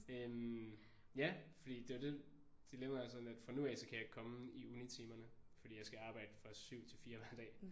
Øh ja fordi det er jo det dilemmaet er sådan at fra nu af kan jeg ikke komme i unitimerne fordi jeg skal arbejde fra 7 til 4 hver dag